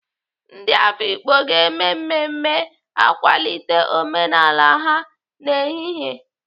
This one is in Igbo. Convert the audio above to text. Ndị Afikpo ga-eme mmemme ịkwalite omenala ha n'ehihie.